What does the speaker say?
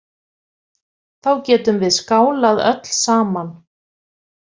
Þá getum við skálað öll saman.